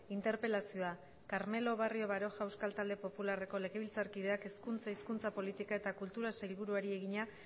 interpelazioa carmelo barrio baroja euskal talde popularreko legebiltzarkideak hezkuntza hizkuntza politika eta kulturako sailburuari egina